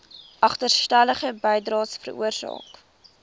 agterstallige bydraes veroorsaak